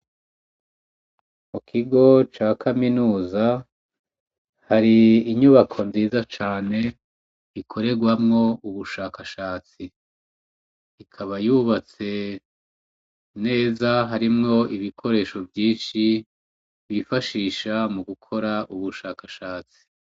Mu kigo ca kaminuza hari inyubako nziza cane ikoregwamwo ubushakashatsi, ikaba yubatse neza harimwo ibikoresho vyinshi bifashisha mu gukora ubushakashatsi.